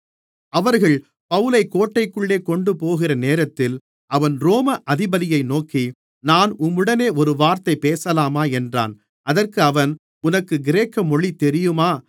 அவர்கள் பவுலைக் கோட்டைக்குள்ளே கொண்டுபோகிற நேரத்தில் அவன் ரோம அதிபதியை நோக்கி நான் உம்முடனே ஒரு வார்த்தை பேசலாமா என்றான் அதற்கு அவன் உனக்கு கிரேக்க மொழி தெரியுமா